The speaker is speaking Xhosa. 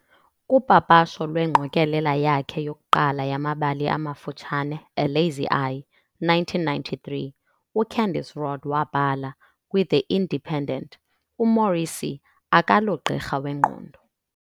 Kupapasho lwengqokelela yakhe yokuqala yamabali amafutshane, "A Lazy Eye", 1993, uCandice Rodd wabhala "kwiThe Independent", "UMorrissy akalogqirha wengqondo.